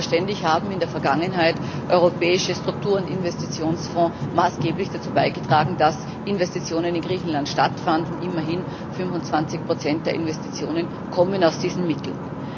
Selbstverständlich haben in der Vergangenheit europäische Struktur und Investitionsfonds maßgeblich dazu beigetragen, dass Investitionen in Griechenland stattfanden immerhin 25 der Investitionen kommen aus diesen Mitteln.